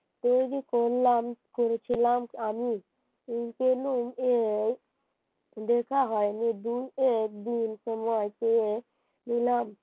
তৈরি করলাম করেছিলাম আমি আমি দেখা হয়নি দু-এক দিন সময় চেয়ে নিলাম